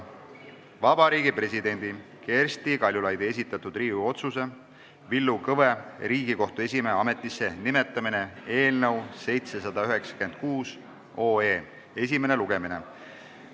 Vabariigi Presidendi Kersti Kaljulaidi esitatud Riigikogu otsuse "Villu Kõve Riigikohtu esimehe ametisse nimetamine" eelnõu 796 esimene lugemine.